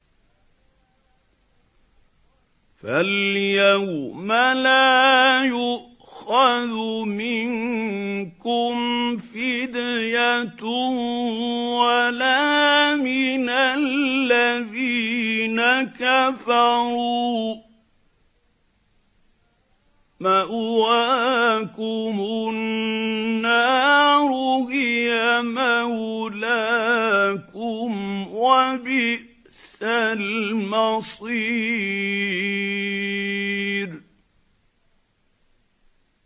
فَالْيَوْمَ لَا يُؤْخَذُ مِنكُمْ فِدْيَةٌ وَلَا مِنَ الَّذِينَ كَفَرُوا ۚ مَأْوَاكُمُ النَّارُ ۖ هِيَ مَوْلَاكُمْ ۖ وَبِئْسَ الْمَصِيرُ